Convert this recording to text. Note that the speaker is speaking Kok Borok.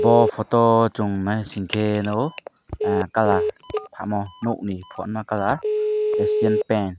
aw photo o chung naising ke nugo kalar tamo nuk ni bana kalar acient paint.